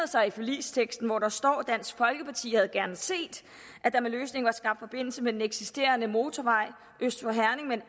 i forligsteksten hvor der står dansk folkeparti havde gerne set at der med løsningen var skabt forbindelse med den eksisterende motorvej øst for herning men